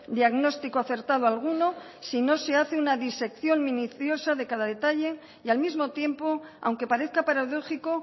diagnóstico acertado alguno si no se hace una disección minuciosa de cada detalle y al mismo tiempo aunque parezca paradójico